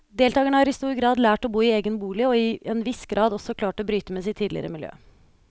Deltagerne har i stor grad lært å bo i egen bolig og i en viss grad også klart å bryte med sitt tidligere miljø.